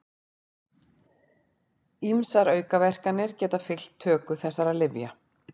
Ýmsar aukaverkanir geta fylgt töku þessara lyfja.